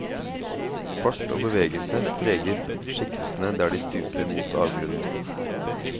Fart og bevegelse preger skikkelsene der de stuper mot avgrunnen.